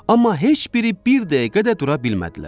Amma heç biri bir dəqiqə də dura bilmədilər.